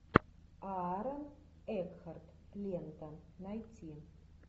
аарон экхарт лента найти